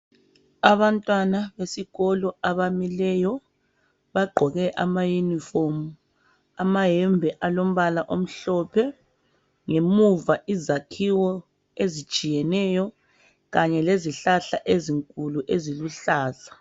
Abantwana besikolo abamileyo, bagqoke amayunifomu amayembe alombala omhlophe ngemuva izakhiwo ezitshiyeneyo kanye lezihlahla ezinkulu eziluhlaza.